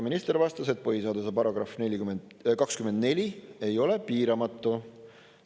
Minister vastas, et põhiseaduse § 24 ei ole piiramatu.